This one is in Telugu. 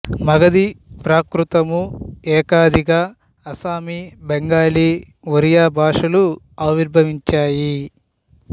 మగధి ప్రాకృతము ఏకాదిగా అస్సామీ బెంగాలీ ఒరియా భాషలు అవిర్భవించాయి